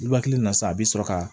Luwaki na sa a bɛ sɔrɔ ka